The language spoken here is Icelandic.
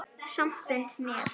Samt finnst mér.